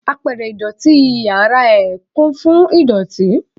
Apẹ̀rẹ̀ ìdọ̀tí inúu yàrá ẹ̀ kún fún idoti.